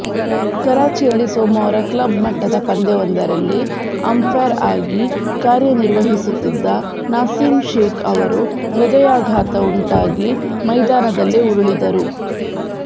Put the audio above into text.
ಕರಾಚಿಯಲ್ಲಿ ಸೋಮವಾರ ಕ್ಲಬ್ ಮಟ್ಟದ ಪಂದ್ಯವೊಂದರಲ್ಲಿ ಅಂಫೈರ್ ಆಗಿ ಕಾರ್ಯನಿರ್ವಹಿಸುತ್ತಿದ್ದ ನಾಸೀಮ್ ಶೇಖ್ ಅವರು ಹೃದಯಾಘಾತ ಉಂಟಾಗಿ ಮೈದಾನದಲ್ಲೇ ಉರುಳಿದರು